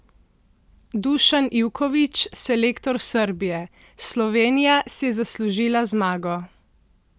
Dušan Ivković, selektor Srbije: "Slovenija si je zaslužila zmago.